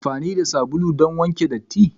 Ana amfani da sabulu don wanke datti.